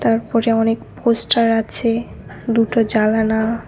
তারপরে অনেক পোস্টার আছে দুটো জালানা।